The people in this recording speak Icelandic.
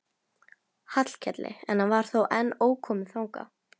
Hallkeli en hann var þá enn ókominn þangað.